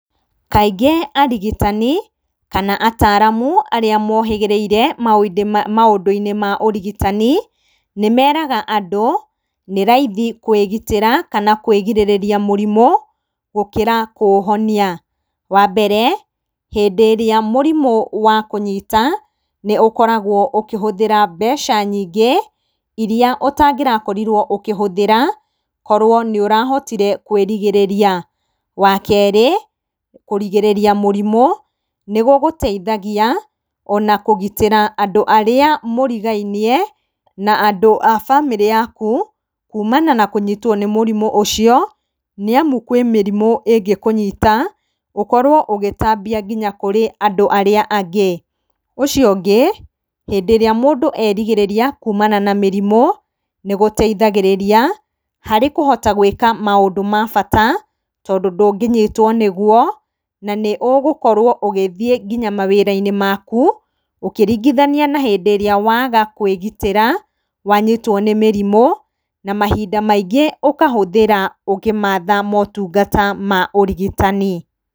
Kaingĩ arigitani, kana ataaramu, arĩa mohĩgĩrĩrĩire maũndũ-inĩ maũrigitani, nĩmeraga andũ, nĩ raithi kũĩgitĩra kana kwĩgirĩrĩria mũrimũ, gũkĩra kũũhonia. Wambere, hĩndĩ ĩrĩa mũrimũ wakũnyita, nĩũkoragwo wakũhũthĩra mbeca nyingĩ, iria ũtangĩrakorirwo ũkĩhũthĩra korwo nĩũrahotire kwĩrigĩrĩria. Wakerĩ, kũrigĩrĩria mũrimũ, nĩ gũgũteithagia ona kũgitĩra andũ arĩa mũrigainie na andũ a bamĩrĩ yaku, kuumana na kũnyitwo nĩ mũrimũ ũcio, nĩamu kwĩmĩrimũ ingĩkũnyita, ũkorwo ũgĩtambia kũrĩ andũ aria angĩ. Ũcio ũngĩ, hĩndĩ ĩrĩa mũndũ erigĩrĩria kuumana na mĩrimũ, nĩgũteithagĩrĩria, kũhota gũĩka maũndũ mabata, tondũ ndũngĩnyitwo nĩguo, na nĩ ũgũkorwo ũgĩthiĩ nginya mawĩra-inĩ maku, ũkĩringithania na hindĩ ĩrĩa waga kũĩgitĩra, wanyitwo nĩ mĩrimũ, na mahinda maingĩ ũkahũthĩra ũkĩmatha motungata maũrigitani.